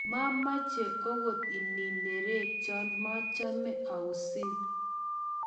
mameche akot inerekcho machame ausin